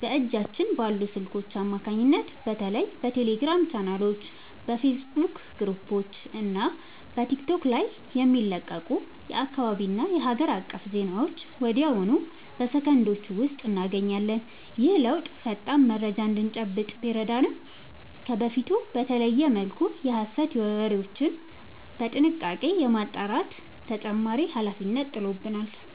በእጃችን ባሉ ስልኮች አማካኝነት በተለይ በቴሌግራም ቻናሎች፣ በፌስቡክ ግሩፖች እና በቲክቶክ ላይ የሚለቀቁ የአካባቢና የሀገር አቀፍ ዜናዎችን ወዲያውኑ በሰከንዶች ውስጥ እናገኛለን። ይህ ለውጥ ፈጣን መረጃ እንድንጨብጥ ቢረዳንም፣ ከበፊቱ በተለየ መልኩ የሐሰት ወሬዎችን በጥንቃቄ የማጣራት ተጨማሪ ኃላፊነት ጥሎብናል።